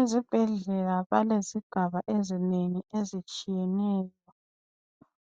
Izibhendlela balezigaba ezinengi ezitshiyeneyo.